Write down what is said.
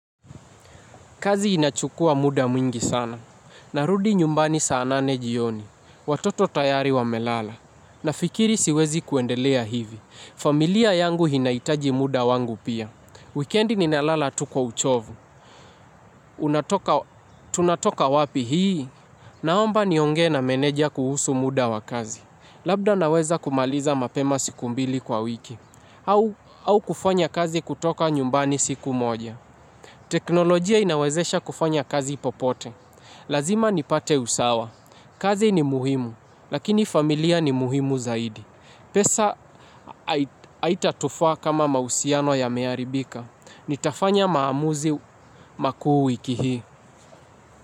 Kazi inachukua muda mwingi sana. Narudi nyumbani saanane jioni. Watoto tayari wa melala. Na fikiri siwezi kuendelea hivi. Familia yangu inahitaji muda wangu pia. Wikendi ninalala tukwa uchovu. Tunatoka wapi hii? Naomba niongee na meneja kuhusu muda wa kazi. Labda naweza kumaliza mapema siku mbili kwa wiki. Au kufanya kazi kutoka nyumbani siku moja. Teknolojia inawezesha kufanya kazi popote. Lazima nipate usawa. Kazi ni muhimu. Lakini familia ni muhimu zaidi. Pesa aitatufaa kama mausiano ya mearibika nitafanya maamuzi makuu wiki hii.